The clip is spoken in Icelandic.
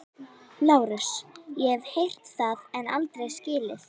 LÁRUS: Ég hef heyrt það en aldrei skilið.